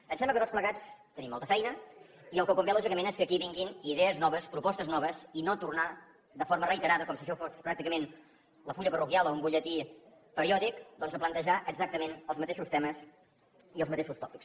em sembla que tots plegats tenim molta feina i el que convé lògicament és que aquí vinguin idees noves propostes noves i no tornar de forma reiterada com si això fos pràcticament el full parroquial o un butlletí periòdic doncs a plantejar exactament els mateixos temes i els mateixos tòpics